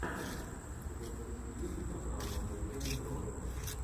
у тебя в списке есть канал евгена бро